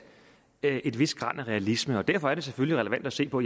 et vist gran af realisme og derfor er det selvfølgelig relevant at se på